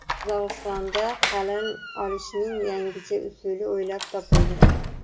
Qozog‘istonda qalin olishning yangicha usuli o‘ylab topildi.